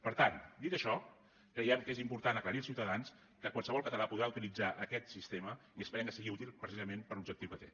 per tant dit això creiem que és important aclarir als ciutadans que qualsevol català podrà utilitzar aquest sistema i esperem que sigui útil precisament per a l’objectiu que té